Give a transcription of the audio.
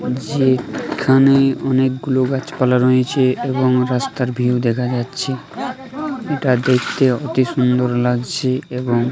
যে এখানে অনেকগুলো গাছপালা রয়েছে এবং রাস্তার ভিউ দেখা যাচ্ছে। এটা দেখতে অতি সুন্দর লাগছে এবং।